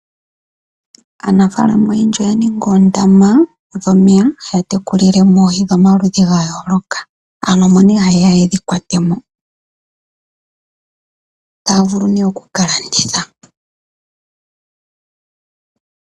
Aanafalama oyendji oya ninga oondama dhomeya haya teku lilemo oohi dho maludhi gayooloka, aantu omo nee ha yeya yedhi kwate mo. taa vulu nee oku kalanditha.